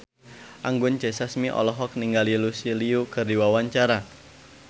Anggun C. Sasmi olohok ningali Lucy Liu keur diwawancara